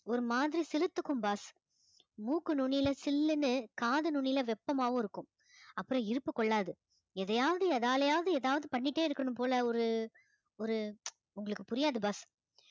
ஒரு மாதிரி சிலிர்த்துக்கும் boss மூக்கு நுனியில சில்லுன்னு காது நுனியில வெப்பமாவும் இருக்கும் அப்புறம் இரும்பு கொள்ளாது எதையாவது எதாலயாவது எதாவது பண்ணிட்டே இருக்கணும் போல ஒரு ஒரு உங்களுக்கு புரியாது boss